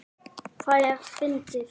Það er fyndið.